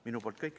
Minu poolt kõik.